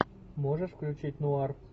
можешь включить нуар